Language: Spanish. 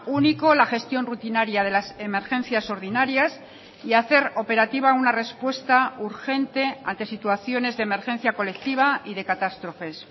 único la gestión rutinaria de las emergencias ordinarias y hacer operativa una respuesta urgente ante situaciones de emergencia colectiva y de catástrofes